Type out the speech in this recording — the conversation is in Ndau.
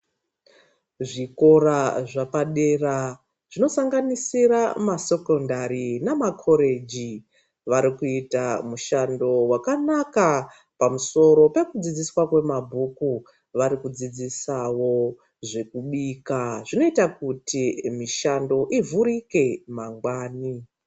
Zvikora zvapadera zvinosanganisira masekondari nama koreji. Vari kuita mushando vakanaka pamusoro pekudzidziswa kwemabhuku. Vari kudzidzisavo zvekubika zvinoita kuti mishando ivhurike mangwani.